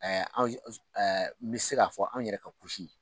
Ɛɛ n bɛ se k'a fɔ anw yɛrɛ ka